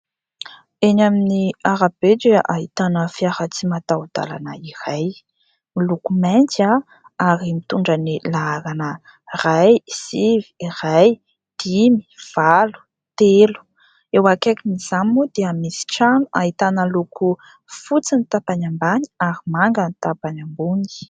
Eny amin'ny arabe dia ahitana fiara tsy mataho-dalana iray miloko mainty ary mitondra ny laharana : ray, sivy, ray, dimy, valo, telo. Eo akaikin'izany moa dia misy trano ahitana loko fotsy ny tapany ambany ary manga ny tapany ambony.